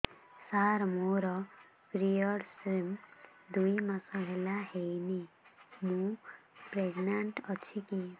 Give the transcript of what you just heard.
ସାର ମୋର ପିରୀଅଡ଼ସ ଦୁଇ ମାସ ହେଲା ହେଇନି ମୁ ପ୍ରେଗନାଂଟ ଅଛି କି